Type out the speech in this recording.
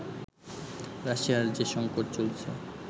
রাশিয়ার যে সংকট চলছে